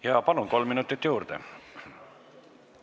Jaa, palun, kolm minutit juurde!